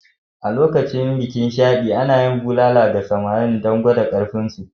A lokacin bikin Shadi, ana bulala ga samarin don gwada ƙarfinsu.